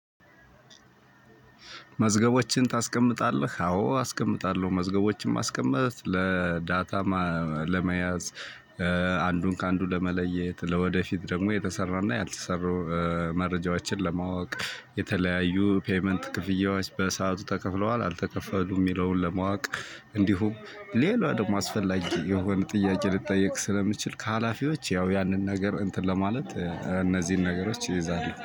መዝገቦችን ታስቀምጣለህ? አዎ አስቀምጣለሁ መዝገቦችን ማስቀመጥ ለዳታ ማ ለመያዝ አንዱን ከአንዱ ለመለየት ለወደፊት ደግሞ የተሰራና ያልተሰሩ መረጃዎችን ለማወቅ፣ የተለያዩ ፔይመንት ክፍያዎች በሰአቱ ተከፍለዋል አልተከፈሉም የሚለውን ለማወቅ እንዲሁም ሌላ ደግሞ አስፈላጊ የሆኑ ጥያቄ ልጠየቅ ስለምችል ከሀላፊዎች ያው ያንን ነገር እንትን ለማለት እነዚህን ነገሮች እይዛለሁ።